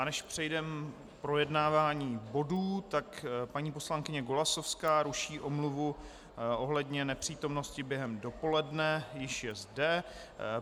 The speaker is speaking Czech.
A než přejdeme k projednávání bodů, tak paní poslankyně Golasowská ruší omluvu ohledně nepřítomnosti během dopoledne, již je zde.